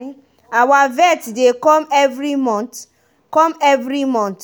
our vet dey come every month. come every month.